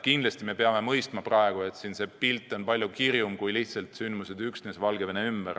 Kindlasti me peame mõistma, et üldine pilt on palju kirjum, sündmused ei arene üksnes Valgevene ümber.